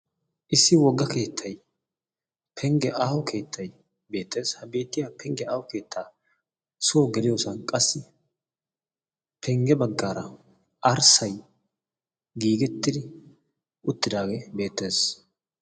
issi wogga keettay pengge aaho keettaiy beettees ha beettiya pengge aao keettaa suwo geliyoosan qassi pengge baggaara arssay giigettidi uttidaagee beettees